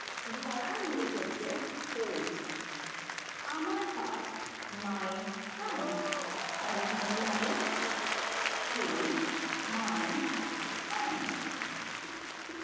ধরা english হচ্ছে hold আমার হাত my hand তাহলে এখানে কি হবে hold my hand